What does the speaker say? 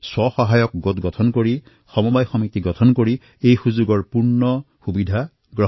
আত্ম সহায়ক গোট নিৰ্মাণ কৰি সহকাৰী সমিতি নিৰ্মাণ কৰি এই সুবিধাসমূহৰ সম্পূৰ্ণ লাভ উঠাওক